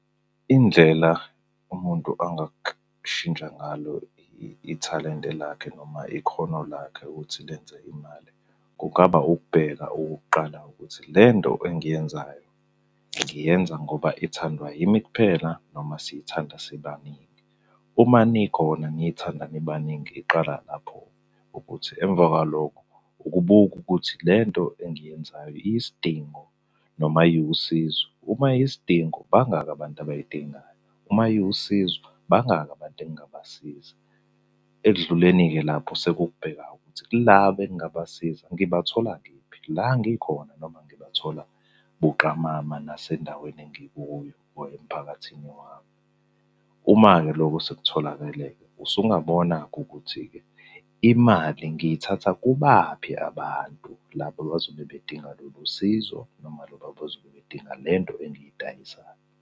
Indlela umuntu angashitsha ngalo ithalente lakhe noma ikhono lakhe ukuthi lenze imali, kungaba ukubheka okokuqala ukuthi le nto engiyenzayo, ngiyenza ngoba ithandwa yimi kuphela noma siyithanda sibaningi. Uma nikhona niyithanda nibaningi iqala lapho-ke ukuthi emva kwalokho ukubuka ukuthi le nto engiyenzayo iyisidingo noma iwusizo. Uma iyisidingo, bangaki abantu abayidingayo, uma iwusizo, bangaki abantu engingabasiza. Ekudluleni-ke lapho sekukubheka ukuthi laba engingabasiza ngibathola kephi, la ngikhona noma ngibathola buqamama nasendaweni engikuyo or emphakathini wami. Uma-ke loko sekutholakele-ke, usungabona-ke ukuthi-ke, imali ngiyithatha kubaphi abantu laba abazobe bedinga lolu sizo noma laba abazobe bedinga lento engiyidayisayo.